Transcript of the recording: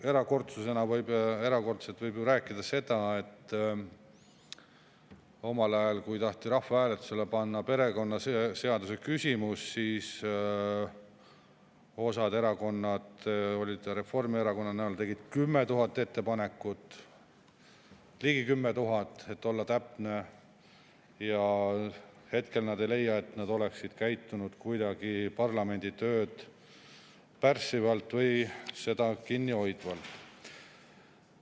Erakordsusest võib ju rääkida sel puhul, et omal ajal, kui taheti rahvahääletusele panna perekonnaseaduse küsimus, siis mõne erakonna liikmeid, eelkõige Reformierakonnast, tegid 10 000 ettepanekut – ligi 10 000, et olla täpne –, aga hetkel nad ei leia, et nad oleksid käitunud kuidagi parlamendi tööd pärssivalt või seda kinni hoidnud.